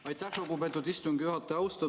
Aitäh, lugupeetud istungi juhataja!